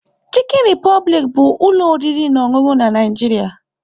Chikọ Republic anyị ụlọ oriri na ọṅụṅụ na Nigeria.